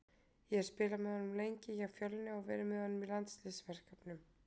Ég hef spilað með honum lengi hjá Fjölni og verið með honum í landsliðsverkefnum.